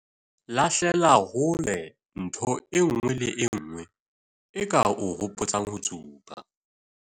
Lahlela hole ntho e nngwe le e nngwe e ka o hopotsang ho tsuba.